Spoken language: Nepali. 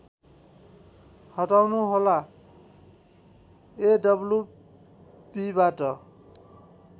हटाउनुहोला एडब्लुबीबाट